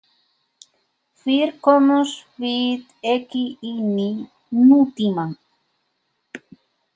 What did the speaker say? Fyrr komumst við ekki inní nútímann.